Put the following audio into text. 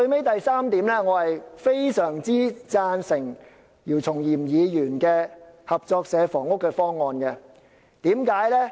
第三，我非常贊成姚松炎議員提出的合作社房屋方案。